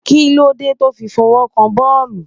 Kí ló dé tó fi fọwọ́ kan boolu?